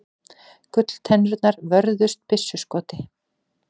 Gulltennurnar vörðust byssuskoti